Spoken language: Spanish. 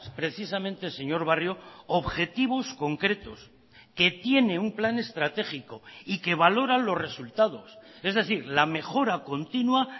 precisamente señor barrio objetivos concretos que tiene un plan estratégico y que valoran los resultados es decir la mejora continua